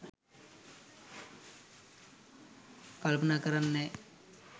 කල්පනා කරන්නේ නෑ.